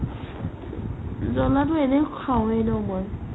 জলাটো এনেও খাওৱে ন মই